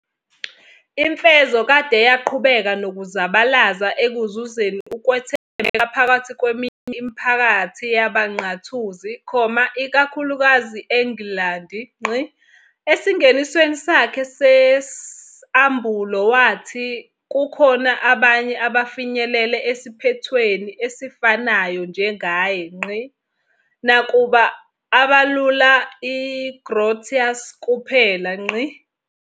Imfezokade yaqhubeka nokuzabalaza ekuzuzeni ukwethembeka phakathi kweminye imiphakathi yabaNqathuzi, ikakhulukazi engilandi. Esingenisweni sakhe sesAmbulo wathi kukhona abanye abafinyelele esiphethweni esifanayo njengaye, nakuba abalula uGrotius kuphela.